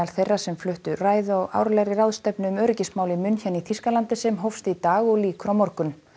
þeirra sem fluttu ræðu á árlegri ráðstefnu um öryggismál í München í Þýskalandi sem hófst í dag og lýkur á morgun